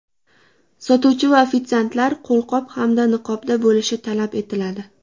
Sotuvchi va ofitsiantlar qo‘lqop hamda niqobda bo‘lishi talab etiladi.